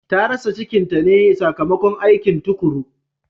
Ta rasa cikinta ne sakamakon aikin tukuru.